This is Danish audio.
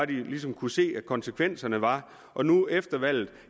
de ligesom kunne se at konsekvenserne var og nu efter valget